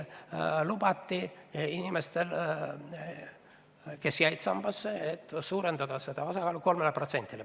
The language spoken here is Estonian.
Lubati inimestel, kes jäid sambaga liitunuks, suurendada sissemaksete osakaalu 3%-le.